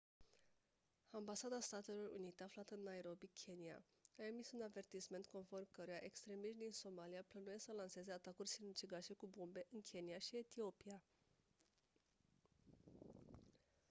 ambasada statelor unite aflată în nairobi kenya a emis un avertisment conform căruia «extremiști din somalia» plănuiesc să lanseze atacuri sinucigașe cu bombe în kenya și etiopia.